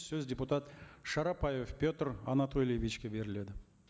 сөз депутат шарапаев петр анатольевичке беріледі